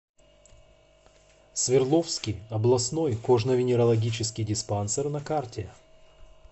свердловский областной кожно венерологический диспансер на карте